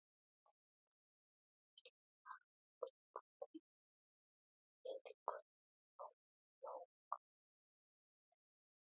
Þangað til að hann tekur til við iðkun jóga.